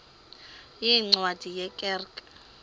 yeencwadi ye kerk